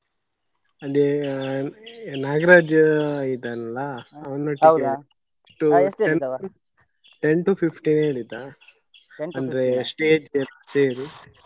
ಅದೇ ನಾಗರಾಜ್ ಇದ್ದಾನಲ್ಲ ten to fifteen ಹೇಳಿದ ಅಂದ್ರೆ stage ಗೆ ಸೇರಿ.